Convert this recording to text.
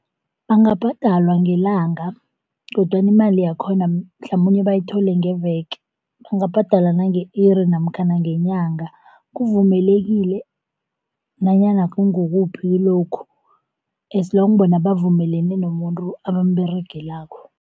Bangabhadalwa ngelanga kodwana imali yakhona mhlamunye bayithole ngeveke. Bangabhadalwa nange-iri namkhana ngenyanga kuvumelekile nanyana kungukuphi kilokhu as long bona bavumelene nomuntu abamberegelako.